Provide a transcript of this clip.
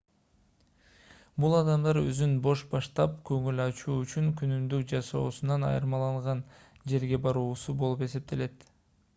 бул адамдар өзүн бош таштап көңүл ачуу үчүн күнүмдүк жашоосунан айырмаланган жерге баруусу болуп эсептелет